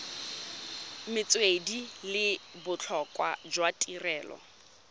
metswedi le botlhokwa jwa tirelo